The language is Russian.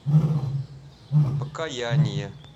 покаяние